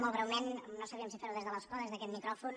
molt breument no sabíem si ferho des de l’escó o des d’aquest micròfon